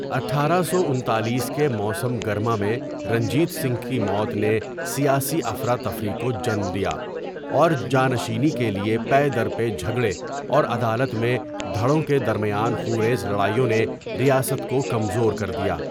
اٹھارہ سو انتالیس کے موسم گرما میں رنجیت سنگھ کی موت نے سیاسی افراتفری کو جنم دیا اور جانشینی کےلۓ پے در پے جھگڑے اور عدالت میں دھڑوں کے درمیان خونریز لڑائیوں نے ریاست کو کمزور کر دیا۔